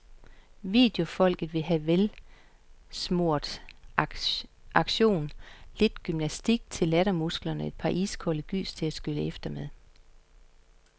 Videofolket vil have velsmurt action, lidt gymnastik til lattermusklerne og et par iskolde gys til at skylle efter med.